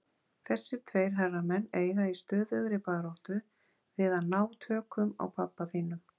Þessir tveir herramenn eiga í stöðugri baráttu við að ná tökum á pabba þínum.